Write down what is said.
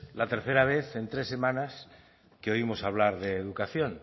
la tercera vez en tres semanas que oímos hablar de educación